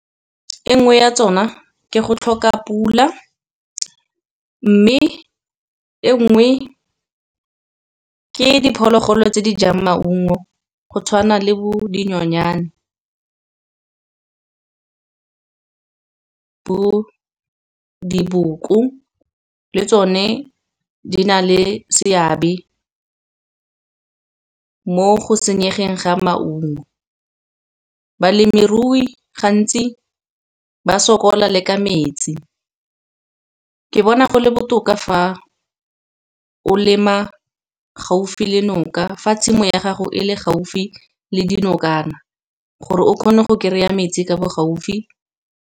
E nngwe ya tsona ke go tlhoka pula mme e nngwe ke diphologolo tse di jang maungo, go tshwana le bo dinonyane. Diboko le tsone di na le seabe mo go senyegeng ga maungo, balemirui gantsi ba sokola le ka metsi. Ke bona go le botoka fa o lema gaufi le noka, fa tshimo ya gago e le gaufi le dinokana, gore o kgone go kry-a metsi ka bo gaufi.